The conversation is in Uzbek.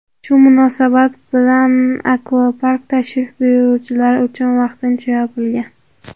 Shu munosabat bilan akvapark tashrif buyuruvchilar uchun vaqtincha yopilgan.